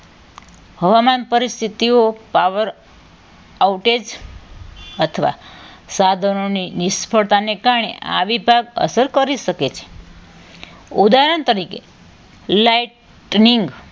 હવામાન પરિસ્થિતિઓ power outage અથવા સાધનોની નિષ્ફળતાને કારણે આ વિભાગ અસર કરી શકે છે ઉદાહરણ તરીકે lightning